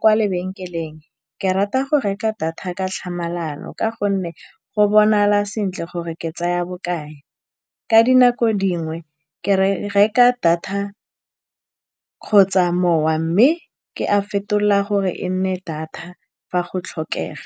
kwa lebenkeleng, ke rata go reka data ka tlhamalalo, ka gonne go bonala sentle gore ke tsaya ya bokae ka dinako dingwe. Ke reka data kgotsa mowa, mme ke a fetola gore e nne data fa go tlhokega.